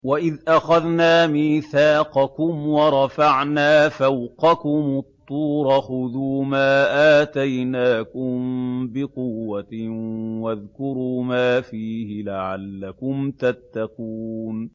وَإِذْ أَخَذْنَا مِيثَاقَكُمْ وَرَفَعْنَا فَوْقَكُمُ الطُّورَ خُذُوا مَا آتَيْنَاكُم بِقُوَّةٍ وَاذْكُرُوا مَا فِيهِ لَعَلَّكُمْ تَتَّقُونَ